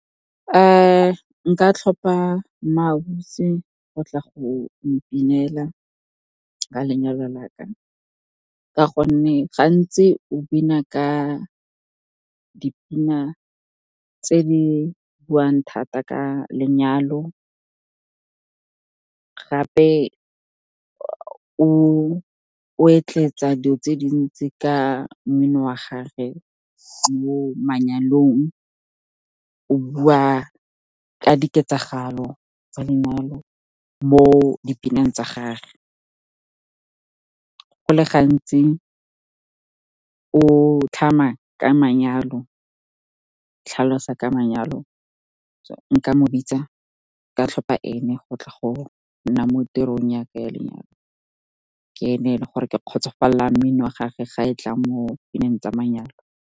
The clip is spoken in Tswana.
Nka tlhopha MmaAusi go tla go mpinela ka lenyalo laka, ka gonne gantsi o bina ka dipina tse di buang thata ka lenyalo. Gape o etletsa di'o tse dintsi ka mmino wa gage mo manyalong, o bua ka diketsagalo tsa lenyalo mo dipineng tsa gage. Go le gantsi o tlhalosa ka manyalo, so nka mo bitsa, ka tlhopha ene go tla go nna mo tirong ya ka ya lenyalo. Ke ene e leng gore ke kgotsofalela mmino wa gagwe, ga e tla mo pineng tsa manyalo.